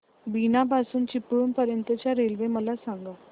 बीना पासून चिपळूण पर्यंत च्या रेल्वे मला सांगा